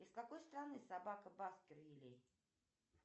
из какой страны собака баскервилей